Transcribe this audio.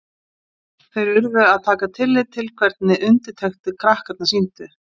Þeir urðu að taka tillit til hvernig undirtektir krakkarnir sýndu.